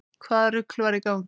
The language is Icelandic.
Hvaða rugl var í gangi?